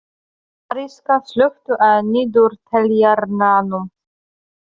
Arisa, slökktu á niðurteljaranum.